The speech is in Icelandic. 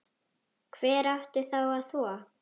Hver átti þá að þvo?